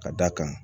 Ka d'a kan